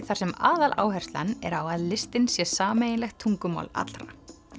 þar sem aðaláherslan er á að listin sé sameiginlegt tungumál allra